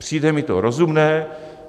Přijde mi to rozumné.